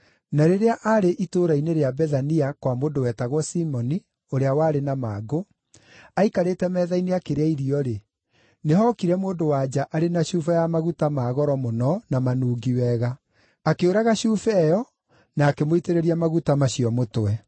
Na rĩrĩa arĩ itũũra-inĩ rĩa Bethania kwa mũndũ wetagwo Simoni ũrĩa warĩ na mangũ, aikarĩte metha-inĩ akĩrĩa irio-rĩ, nĩhookire mũndũ-wa-nja arĩ na cuba ya maguta ma goro mũno na manungi wega. Akĩũraga cuba ĩyo na akĩmũitĩrĩria maguta macio mũtwe.